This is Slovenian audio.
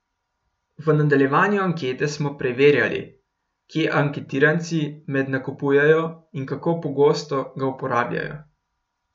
V nadaljevanju ankete smo preverjali, kje anketiranci med nakupujejo in kako pogosto ga uporabljajo.